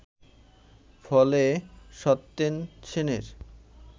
ফলে সত্যেন সেনের